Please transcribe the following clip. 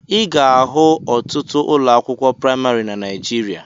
Ị ga-ahụ ọtụtụ ụlọ akwụkwọ praimarị na Naijiria